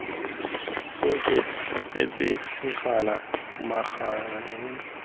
oketse sekgala magareng ga gago